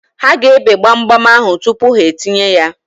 Ha ga-ebe gbamgbam ahụ tupu ha etinye ya.